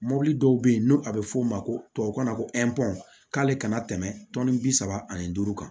Mɔbili dɔw be yen n'o a be f'o ma ko tubabukan na ko k'ale kana tɛmɛ tɔnni bi saba ani duuru kan